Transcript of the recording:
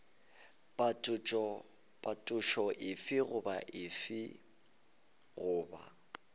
phetošo efe goba efe goba